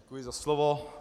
Děkuji za slovo.